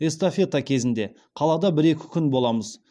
эстафета кезінде қалада бір екі күн боламыз